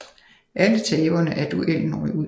Alle taberne af duelen røg ud